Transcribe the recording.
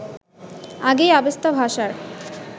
আগেই অবেস্তা ভাষার